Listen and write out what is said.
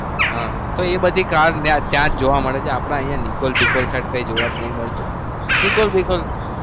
હા તો એ બધી car ત્યાં જ જોવા મળે છે. આપણા અહિયાં નિકોલ બીકોલ side કઈ જોવા જ નહી મળતું નિકોલ બીકોલ.